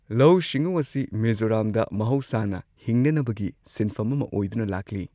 ꯂꯧꯎ ꯁꯤꯡꯎ ꯑꯁꯤ ꯃꯤꯖꯣꯔꯥꯝꯗ ꯃꯍꯧꯁꯥꯅ ꯍꯤꯡꯅꯅꯕꯒꯤ ꯁꯤꯟꯐꯝ ꯑꯃ ꯑꯣꯏꯗꯨꯅ ꯂꯥꯛꯂꯤ꯫